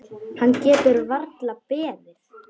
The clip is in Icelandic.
Hann getur varla beðið.